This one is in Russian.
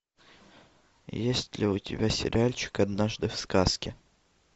есть ли у тебя сериальчик однажды в сказке